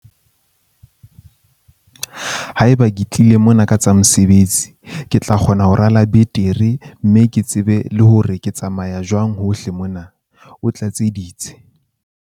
"Haeba ke tlile mona ka tsa mosebetsi, ke tla kgona ho rala betere mme ke tsebe le hore ke tsamaya jwang hohle mona," o tlatseleditse.